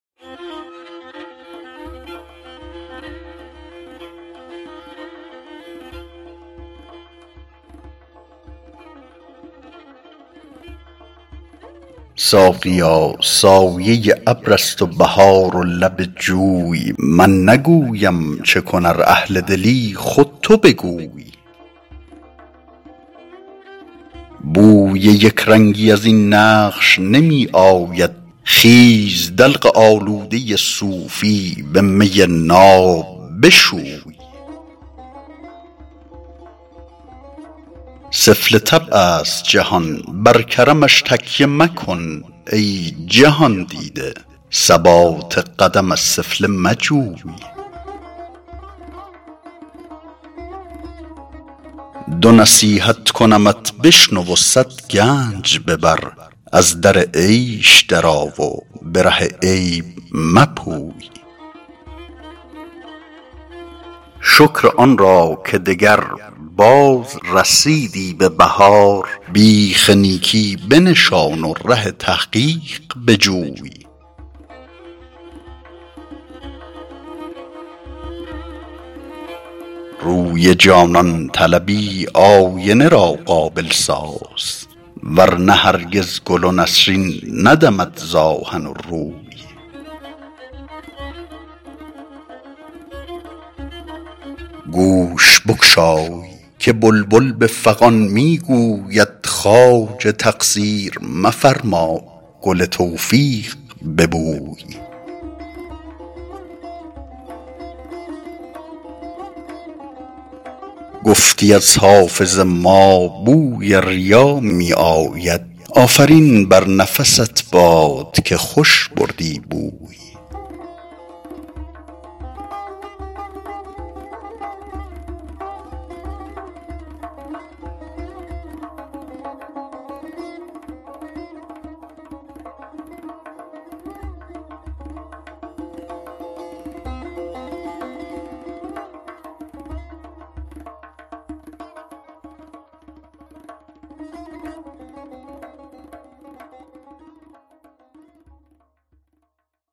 ساقیا سایه ابر است و بهار و لب جوی من نگویم چه کن ار اهل دلی خود تو بگوی بوی یک رنگی از این نقش نمی آید خیز دلق آلوده صوفی به می ناب بشوی سفله طبع است جهان بر کرمش تکیه مکن ای جهان دیده ثبات قدم از سفله مجوی دو نصیحت کنمت بشنو و صد گنج ببر از در عیش درآ و به ره عیب مپوی شکر آن را که دگربار رسیدی به بهار بیخ نیکی بنشان و ره تحقیق بجوی روی جانان طلبی آینه را قابل ساز ور نه هرگز گل و نسرین ندمد ز آهن و روی گوش بگشای که بلبل به فغان می گوید خواجه تقصیر مفرما گل توفیق ببوی گفتی از حافظ ما بوی ریا می آید آفرین بر نفست باد که خوش بردی بوی